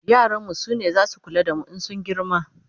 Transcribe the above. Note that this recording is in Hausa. yaran mu sune zasu kula da mu in sun girma